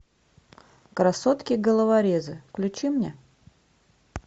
красотки головорезы включи мне